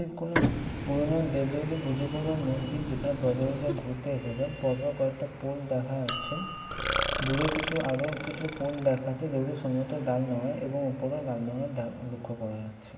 এটা কোনো পুরনো দেবদেবীদের পুজো করবার মন্দির | যেখানে পর্যটকেরা ঘুরতে এসেছ | পরপর কয়েকটা পোল দেখা যাচ্ছে | দূরেও কিছু আরও কিছু পোল দেখা যাচ্ছে যেগুলোতে সব দাগ নয় | এবং ওপরেও লাল রঙের দাগ দেখা লক্ষ্য করা যাচ্ছে।